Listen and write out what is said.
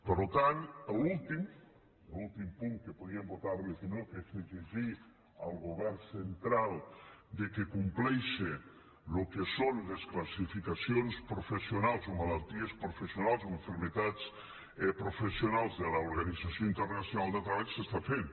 per tant l’últim l’últim punt que podíem votar li que no que és exigir al govern central que compleixi el que són les classificacions professionals o malalties professionals o malalties professionals de l’organització internacional del treball s’està fent